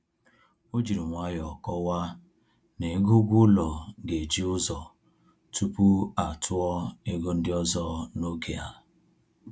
O jiri nwayọ kọwaa n'ego ụgwọ ụlọ ga-eji ụzọ tupu atụọ ego ndị ọzọ n'oge a